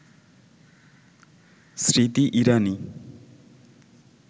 Smriti Irani